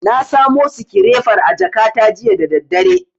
Na samo sikirefar a jakata jiya da daddare.